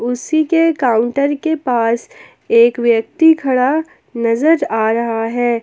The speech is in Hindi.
कुर्सी के काउंटर के पास एक व्यक्ति खड़ा नजर आ रहा है।